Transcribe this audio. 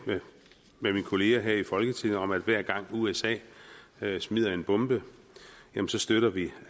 mine kollegaer her i folketinget om at hver gang usa smider en bombe støtter vi